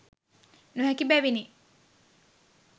නොහැකි බැවිනි.